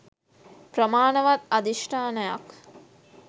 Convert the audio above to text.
ප්‍රමාණවත් අධිෂ්ඨානයක්